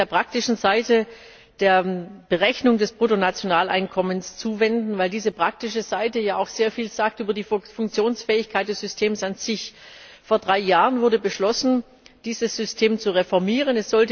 Ich möchte mich der praktischen Seite der Berechnung des Bruttonationaleinkommens zuwenden, weil diese praktische Seite ja auch sehr viel sagt über die Funktionsfähigkeit des Systems an sich. Vor drei Jahren wurde beschlossen, dieses System zu reformieren.